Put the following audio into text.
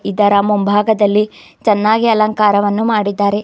ಇದರ ಮುಂಭಾಗದಲ್ಲಿ ಚೆನ್ನಾಗಿ ಅಲಂಕಾರವನ್ನು ಮಾಡಿದ್ದಾರೆ.